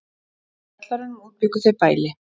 Í kjallaranum útbjuggu þau bæli.